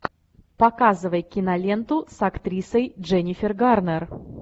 показывай киноленту с актрисой дженнифер гарнер